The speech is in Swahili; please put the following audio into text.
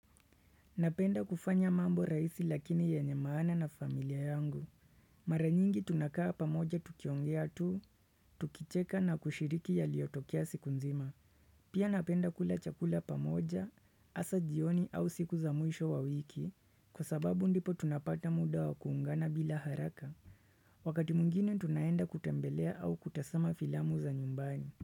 Napenda kufanya mambo rahisi lakini yenye maana na familia yangu. Mara nyingi tunakaa pamoja tukiongea tu, tukicheka na kushiriki yaliyotokea siku nzima. Pia napenda kula chakula pamoja, hasa jioni au siku za mwisho wa wiki, kwa sababu ndipo tunapata muda wa kuungana bila haraka. Wakati mwingine tunaenda kutembelea au kutazama filamu za nyumbani.